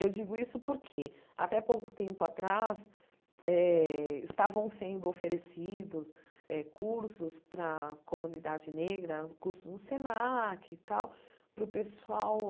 Eu digo isso porque, até pouco tempo atrás eh, estavam sendo oferecidos eh cursos para a comunidade negra, cursos no SENAC e tal, para o pessoal